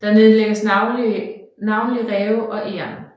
Der nedlægges navnlig ræve og egern